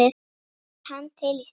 Er hann til í starfið?